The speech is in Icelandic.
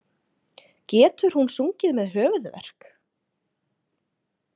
Getur hún sungið með höfuðverk?